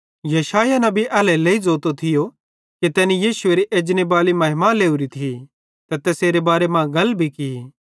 यशायाह नबी एल्हेरेलेइ ज़ोतो थियो कि तैनी यीशुएरी एजनेबाली महिमा लवरी थी ते तैसेरे बारे मां गल भी की